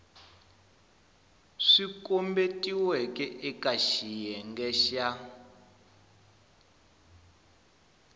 swi kombetiweke eka xiyenge xa